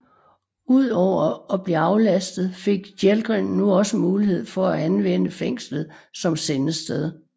Ud over at blive aflastet fik Jelgren nu også mulighed fra at anvendte fængslet som sendested